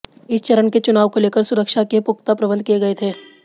इस चरण के चुनाव को लेकर सुरक्षा के पुख्ता प्रबंध किए गए थे